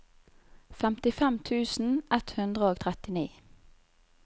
femtifem tusen ett hundre og trettini